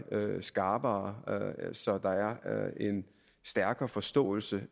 skarpere så der er en stærkere forståelse